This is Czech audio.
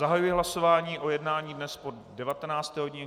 Zahajuji hlasování o jednání dnes po 19. hodině.